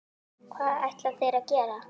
Hvað ætla þeir að gera?